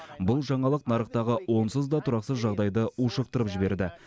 бұл жаңалық нарықтағы онсыз да тұрақсыз жағдайды ушықтырып жіберді